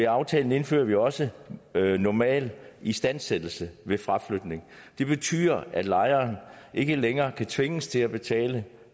aftalen indfører vi også normal istandsættelse ved fraflytning det betyder at lejeren ikke længere kan tvinges til at betale